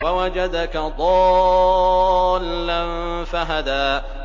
وَوَجَدَكَ ضَالًّا فَهَدَىٰ